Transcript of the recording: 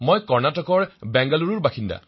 মই কৰ্ণাটকৰ বেংগালুৰু নিবাসী